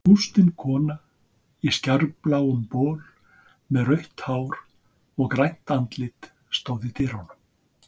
Bústin kona í skærbláum bol með rautt hár og grænt andlit stóð í dyrunum.